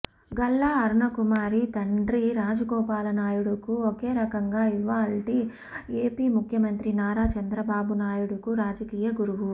గల్లా అరుణకుమారి తండ్రి రాజగోపాలనాయుడుకు ఒకరకంగా ఇవాల్టి ఏపీ ముఖ్యమంత్రి నారా చంద్రబాబు నాయుడుకు రాజకీయ గురువు